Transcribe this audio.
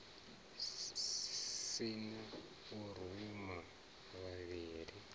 si na u ruma vhavhali